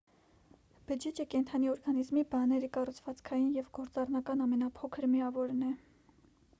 բջիջը կենդանի օրգանիզմի բաների կառուցվածքային և գործառնական ամենափոքր միավորն է: